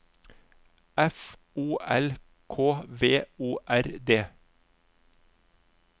F O L K V O R D